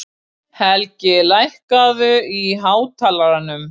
Helgi, lækkaðu í hátalaranum.